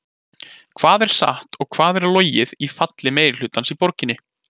Hvað er satt og hvað er logið í falli meirihlutans í borginni?